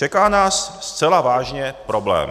Čeká nás zcela vážně problém.